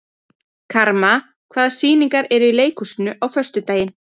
Karma, hvaða sýningar eru í leikhúsinu á föstudaginn?